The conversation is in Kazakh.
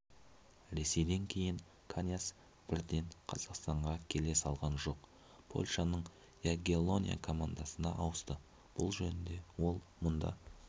ресейден кейін каньяс бірден қазақстанға келе салған жоқ польшаның ягеллония командасына ауысты бұл жөнінде ол мұнда